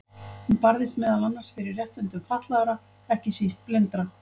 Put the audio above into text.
Hún barðist meðal annars fyrir réttindum fatlaðra, ekki síst blindra.